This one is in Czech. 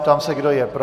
Ptám se, kdo je pro?